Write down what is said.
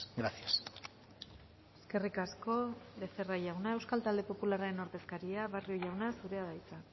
gracias eskerrik asko becerra jauna euskal talde popularraren ordezkaria barrio jauna zurea da hitza